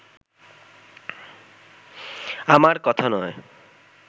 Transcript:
আমার কথা নয়